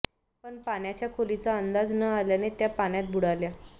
पण पाण्याच्या खोलीचा अंदाज न आल्याने त्या पाण्यात बुडाल्या